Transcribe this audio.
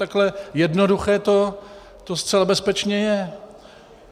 Takhle jednoduché to zcela bezpečně je.